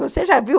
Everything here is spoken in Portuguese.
Você já viu?